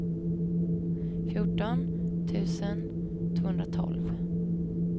fjorton tusen tvåhundratolv